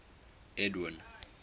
edwind